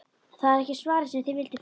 Það er ekki svarið sem þið vilduð fá.